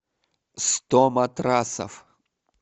сто матрасов